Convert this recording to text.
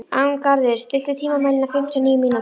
Arngarður, stilltu tímamælinn á fimmtíu og níu mínútur.